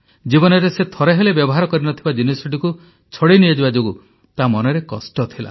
ଜୀବନରେ ସେ ଥରେ ହେଲେ ବ୍ୟବହାର କରିନଥିବା ଜିନିଷଟିକୁ ଛଡାଇ ନିଆଯିବା ଯୋଗୁଁ ତା ମନରେ କଷ୍ଟ ଥିଲା